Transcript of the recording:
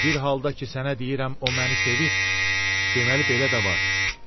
Bir halda ki sənə deyirəm o məni sevir, deməli belə də var.